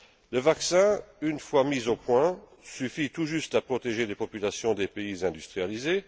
Le vaccin, une fois mis au point, suffit tout juste à protéger les populations des pays industrialisés.